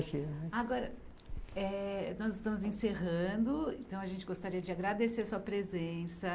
Agora, é nós estamos encerrando, então a gente gostaria de agradecer a sua presença.